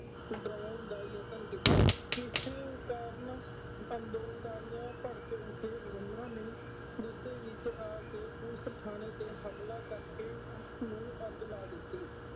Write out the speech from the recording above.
ਡਰਾਉਣ ਦਾ ਯਤਨ ਕੀਤਾ। ਕਿਸੇ ਕਾਰਨ ਅੰਦੋਲਨਕਾਰੀਆਂ ਭੜਕ ਉੱਠੇ ਉਹਨਾ ਨੇ ਗੁੱਸੇ ਵਿੱਚ ਆ ਕੇ ਪੁਲਿਸ ਥਾਣੇ ਤੇ ਹਮਲਾ ਕਰਕੇ ਉਸਨੂੰ ਅੱਗ ਲਾ ਦਿੱਤੀ।